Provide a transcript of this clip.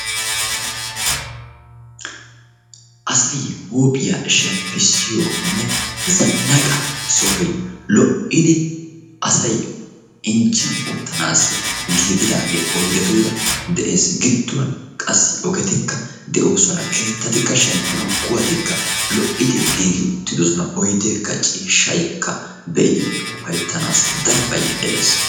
Asay huuphiya shemppiyoonne zannaqqa sohoy lo"idi asay injjiyan uttanassi giigaadage oyddetuura de'ees. Gidduwan qassi oyddetikka de'oosona, keettatikka shemppanaw kuwattikka lo"idi giigi uttidoosona. Oyddekka ciishshaykka be'iddi upayttanassi darobay de'ees.